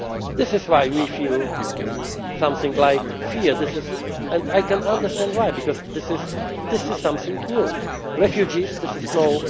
This is why we feel something like fear, and I can understand why, because this is something